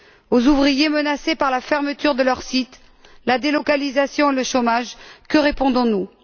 Aux ouvriers menacés par la fermeture de leur site, la délocalisation, le chômage, que répondons nous?